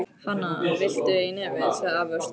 Hana, viltu í nefið? sagði afi og stóð upp.